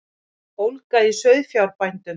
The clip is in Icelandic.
Ólga í sauðfjárbændum